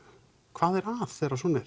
hvað er að þegar svona